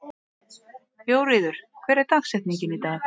Jóríður, hver er dagsetningin í dag?